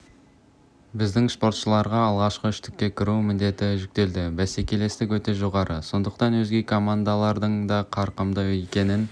айта кеткен жөн универсиадаға қатысушы елдердің де саны артты бұрын мұншалықты команда қатысқан емес біздің